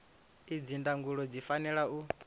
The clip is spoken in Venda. idzi ndangulo zwi fanela u